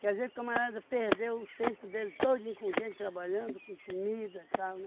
Quer dizer que o camarada perdeu o tempo dele todinho com gente trabalhando, com comida e tal, né?